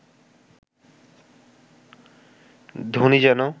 ধ্বনি যেন